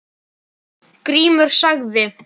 Grímur sagði